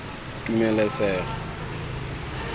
tumelesego